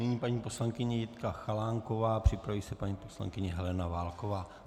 Nyní paní poslankyně Jitka Chalánková, připraví se paní poslankyně Helena Válková.